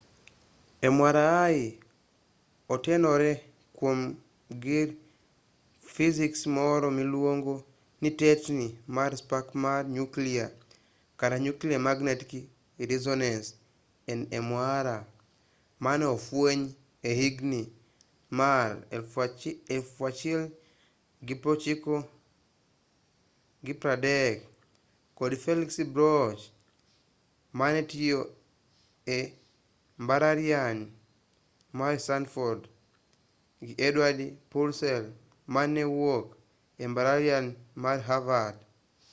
mri otenore kuom gir fisiks moro miluongo ni tetni mar spak mar nyuklia kata nuclear magnetic reesonance nmr mane ofweny e higni mag 1930 kod felix bloch mane tiyo e mbalariany mar stanford gi edward purcell mane wuok e mbalariany mar havard